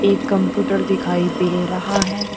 Computer दिखाई दे रहा है।